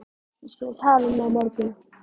Við skulum tala um það á morgun